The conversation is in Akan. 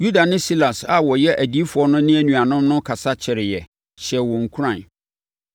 Yuda ne Silas a wɔyɛ adiyifoɔ no ne anuanom no kasa kyɛreeɛ, hyɛɛ wɔn nkuran.